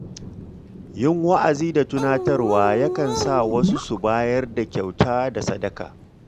Yin wa'azi da tunatarwa yakan sa wasu su bayar da kyauta da sadaka.